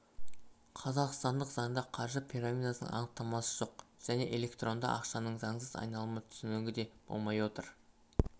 қазақстандық заңда қаржы пирамидасының анықтамасы жоқ және электронды ақшаның заңсыз айналымы түсінігі де болмай отыр